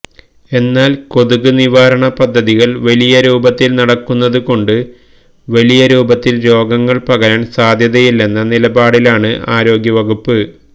എന്നാല് കൊതുക് നിവാരണ പദ്ധതികള് വലിയ രൂപത്തില് നടക്കുന്നത് കൊണ്ട് വലിയരൂപത്തില് രോഗം പകരാന് സാധ്യതയില്ലെന്ന നിലപാടിലാണ് ആരോഗ്യവകുപ്പ്